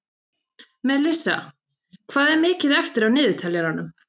Melissa, hvað er mikið eftir af niðurteljaranum?